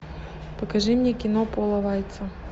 покажи мне кино пола вайца